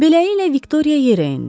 Beləliklə Viktoriya yerində.